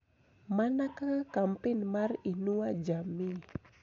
Mana kaka kampen mar "Inua Jamii